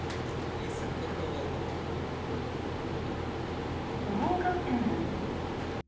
алиса кто такой волков волков н н